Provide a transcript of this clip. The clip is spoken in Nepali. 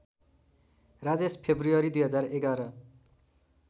राजेश फेब्रुअरी २०११